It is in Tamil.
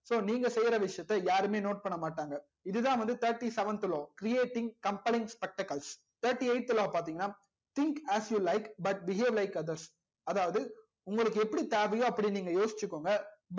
so நீங்க செய்ற விஷயத்த யாருமே note பண்ண மாட்டாங்க இதுதா வந்து thirty seventh law creating compaling spectacles thirty eight law பாத்திங்கனா think as you like but behave like others அதாவது உங்களுக்கு எப்படி தேவையோ அப்டி யோசிங்கோங்க